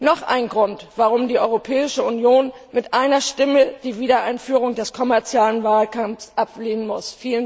Noch ein Grund, warum die Europäische Union mit einer Stimme die Wiedereinführung des kommerziellen Walfangs ablehnen muss.